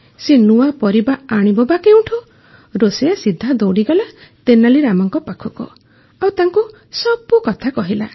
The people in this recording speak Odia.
ସେ ନୂଆ ପରିବା ଆଣିବ ବା କେଉଁଠୁ ରୋଷେଇୟା ସିଧା ଦଉଡ଼ିଗଲା ତେନାଲୀ ରାମାଙ୍କ ପାଖକୁ ଆଉ ତାଙ୍କୁ ସବୁ କଥା କହିଲା